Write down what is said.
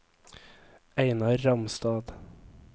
Einar Ramstad